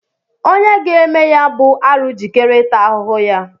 Onye ga-eme ya bụ arụ jikere ịta ahụhụ ya